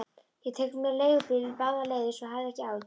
Ég tek mér leigubíl báðar leiðir, svo hafðu ekki áhyggjur.